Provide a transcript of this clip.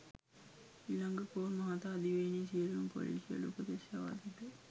ඉලංගකෝන් මහතා දිවයිනේ සියලුම පොලිසිවලට උපදෙස් යවා තිබේ